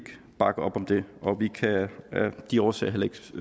bakke op om det og vi kan af de årsager heller ikke